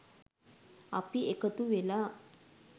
අපි එකතු වෙලා